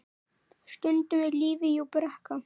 Stundum er lífið jú brekka.